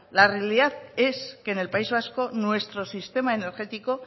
la realidad es que en el país vasco nuestro sistema energético